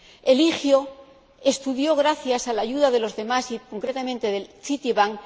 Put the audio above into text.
Eligio estudió gracias a la ayuda de los demás y, concretamente, del Citibank